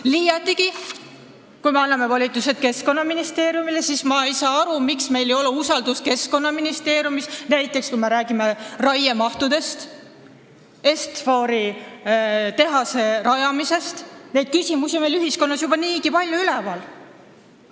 Liiatigi, kui me anname volitused Keskkonnaministeeriumile, siis ma ei saa aru, miks meil ei ole usaldust Keskkonnaministeeriumi vastu, kui me räägime näiteks raiemahtudest ja Est-Fori tehase rajamisest – neid küsimusi on ühiskonnas juba niigi palju üleval.